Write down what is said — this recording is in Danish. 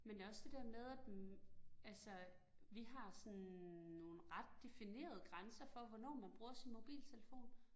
Men det også det der med, at hm altså vi har sådan nogle ret definerede grænser for, hvornår man bruger sin mobiltelefon